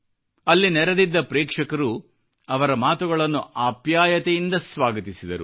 ಅಲ್ಲಿ ನೆರೆದಿದ್ದ ಪ್ರೇಕ್ಷಕರು ಅವರ ಮಾತುಗಳನ್ನು ಆಪ್ಯಾಯತೆಯಿಂದ ಸ್ವಾಗತಿಸಿದರು